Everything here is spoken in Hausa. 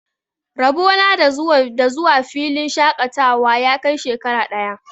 Rabo na da zuwa filin shaƙatawa ya kai shekara ɗaya.